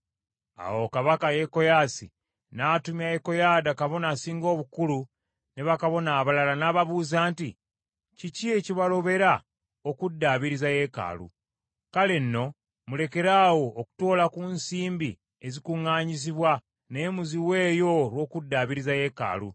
Awo kabaka Yekoyaasi n’atumya Yekoyaada kabona asinga obukulu ne bakabona abalala, n’ababuuza nti, “Kiki ekibalobera okuddaabiriza yeekaalu? Kale nno, mulekeraawo okutoola ku nsimbi ezikuŋŋaanyizibwa, naye muziweeyo olw’okuddaabiriza yeekaalu.”